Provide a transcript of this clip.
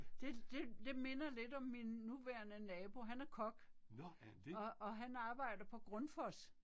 Det det det minder lidt om min nuværende nabo han er kok. Og og han arbejder på Grundfos